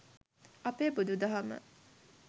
අපේ බුදු දහම